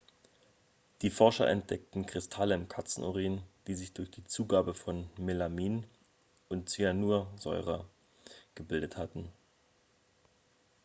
die forscher entdeckten kristalle im katzenurin die sich durch die zugabe von melamin und zyanursäure gebildet hatten